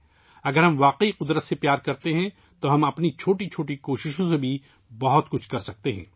اگر ہمیں فطرت سے محبت ہے تو ہم اپنی چھوٹی چھوٹی کوششوں سے بھی بہت کچھ کر سکتے ہیں